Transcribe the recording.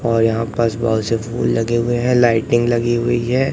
और यहां पास बहोत से फूल लगे हुए हैं लाइटिंग लगी हुई है।